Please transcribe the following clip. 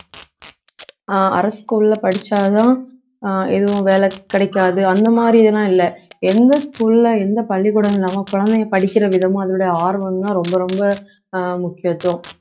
அஹ் அரசு school ல படிச்சாதான் அஹ் எதுவும் வேலை கிடைக்காது அந்த மாதிரி எல்லாம் இல்லை எந்த school ல எந்த பள்ளிக்கூடமும் இல்லாம குழந்தைங்க படிக்கிற விதமும் அதனுடைய ஆர்வமும்தான் ரொம்ப ரொம்ப அஹ் முக்கியத்துவம்